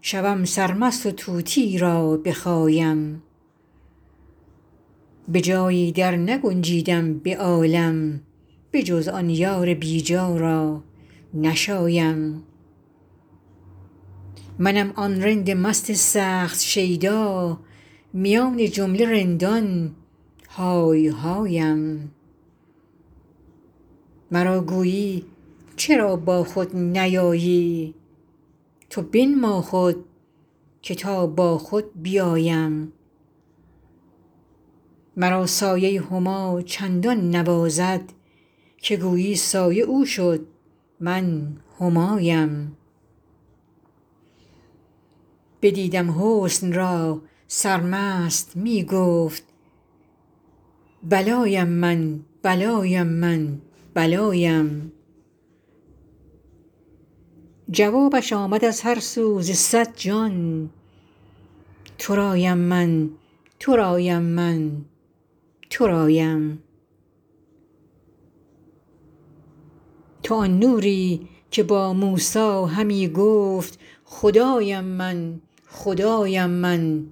شوم سرمست و طوطی را بخایم به جایی درنگنجیدم به عالم بجز آن یار بی جا را نشایم منم آن رند مست سخت شیدا میان جمله رندان های هایم مرا گویی چرا با خود نیایی تو بنما خود که تا با خود بیایم مرا سایه ی هما چندان نوازد که گویی سایه او شد من همایم بدیدم حسن را سرمست می گفت بلایم من بلایم من بلایم جوابش آمد از هر سو ز صد جان ترایم من ترایم من ترایم تو آن نوری که با موسی همی گفت خدایم من خدایم من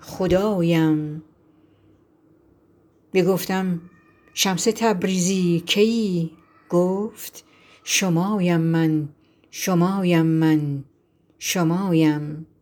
خدایم بگفتم شمس تبریزی کیی گفت شمایم من شمایم من شمایم